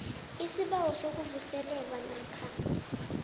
isibawo sokuvuselelwa namkha